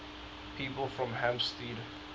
people from hampstead